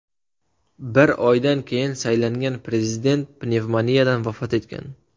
Bir oydan keyin saylangan prezident pnevmoniyadan vafot etgan.